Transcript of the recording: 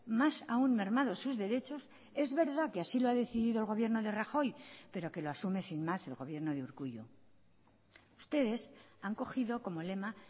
más aún mermados sus derechos es verdad que así lo ha decidido el gobierno de rajoy pero que lo asume sin más el gobierno de urkullu ustedes han cogido como lema